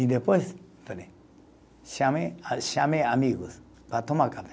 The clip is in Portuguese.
E depois, peraí, chamei, chamei amigos para tomar café.